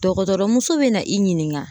Dɔgɔtɔrɔmuso be na i ɲininka.